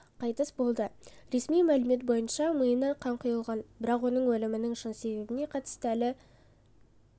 қайтыс болды ресми мәлімет бойынша миына қан құйылған бірақ оның өлімінің шын себебіне қатысты әлі